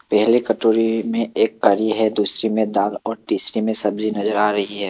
पहले कटोरी में एक करी है दूसरी में दाल और तीसरी में सब्जी नजर आ रही है।